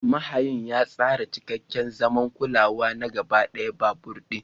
Mahayin ya tsara cikakken zaman kulawa na gaba ɗaya babur ɗin.